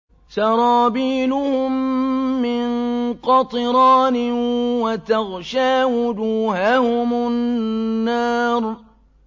سَرَابِيلُهُم مِّن قَطِرَانٍ وَتَغْشَىٰ وُجُوهَهُمُ النَّارُ